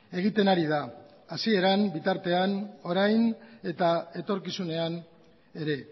egiten ari da hasieran bitartean orain eta etorkizunean ere